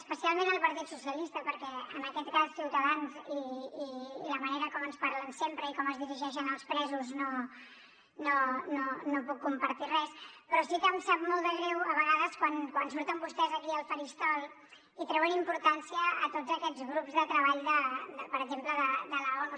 especialment el partit dels socialistes perquè en aquest cas amb ciutadans per la manera com ens parlen sempre i com es dirigeixen als presos no puc compartir res però sí que em sap molt de greu a vegades quan surten vostès aquí al faristol i treuen importància a tots aquests grups de treball per exemple de l’onu